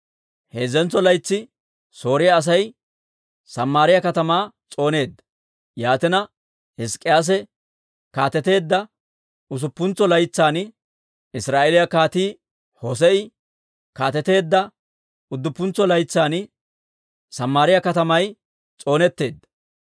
Heezzentso laytsi Sooriyaa Asay Samaariyaa katamaa s'ooneedda. Yaatina Hizk'k'iyaase kaateteedda usuppuntsa laytsan, Israa'eeliyaa kaatii Hosee'i kaateteedda udduppuntsa laytsan, Samaariyaa katamay s'oonetteedda.